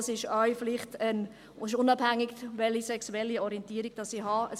Das ist unabhängig davon, welche sexuelle Orientierung ich habe.